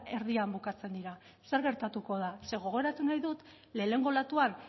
erdian bukatzen dira zer gertatuko da ze gogoratu nahi dut lehenengo olatuan